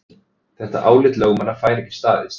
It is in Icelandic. Þetta álit lögmannanna fær ekki staðist